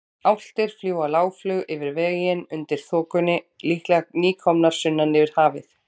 Álftir fljúga lágflug yfir veginn undir þokunni, líklega nýkomnar sunnan yfir hafið.